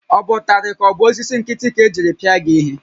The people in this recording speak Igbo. Ọ bụ ụtarị ka ọ bụ osisi nkịtị ka-ejiri pịa gị ihe?